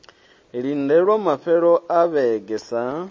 lindelwa mafhelo a vhege sa